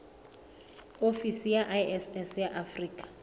ofisi ya iss ya afrika